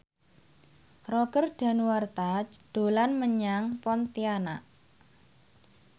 Roger Danuarta dolan menyang Pontianak